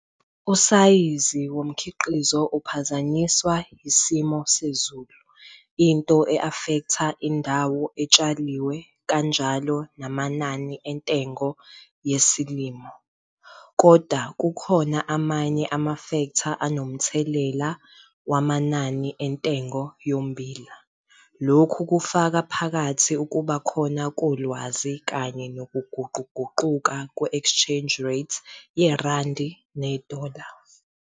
Usayizi womkhiqizo uphazanyiswe yisimo sezulu, into e-afektha indawo etshaliwe kanjalo namanani entengo yesilimo. Koda kukhona amanye amafektha anomthelela wamanani entengo yommbila, lokhu kufaka phakathi ukuba khona kolwazi kanye nokuguquguquka kwe-exchange rate yerandi - nedola.